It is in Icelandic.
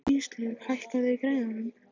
Íslaug, hækkaðu í græjunum.